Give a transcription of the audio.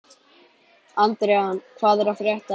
Andrean, hvað er að frétta?